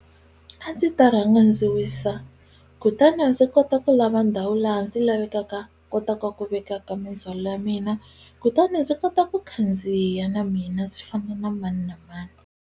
A ndzi ta rhanga ndzi wisa kutani ndzi kota ku lava ndhawu laha ndzi lavekaka kotaka ku vekaka mindzhwalo ya mina kutani ndzi kota ku khandziya na mina ndzi fana na mani na mani.